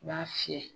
I b'a fiyɛ